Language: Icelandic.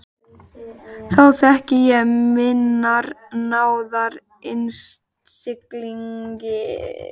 Þá þekki ég minnar náðar innsigli.